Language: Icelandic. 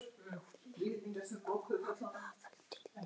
Ljúf minning Haföldu lifir.